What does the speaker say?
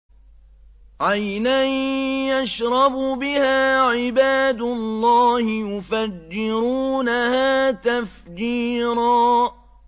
عَيْنًا يَشْرَبُ بِهَا عِبَادُ اللَّهِ يُفَجِّرُونَهَا تَفْجِيرًا